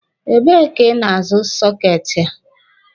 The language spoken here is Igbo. Ebe ka ị na-azụ soketi a?